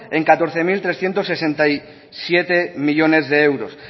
en catorce mil trescientos sesenta y siete millónes de euros